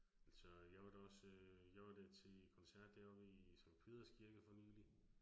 Altså jeg var da også øh, jeg var da til koncert deroppe i Sankt Peders Kirke for nylig